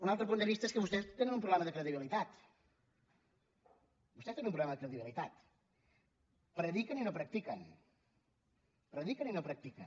un altre punt de vista és que vostès tenen un problema de credibilitat vostès tenen un problema de credibi·litat prediquen i no practiquen prediquen i no prac·tiquen